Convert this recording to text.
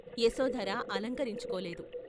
Yashodhara అలంకరించుకోలేదు.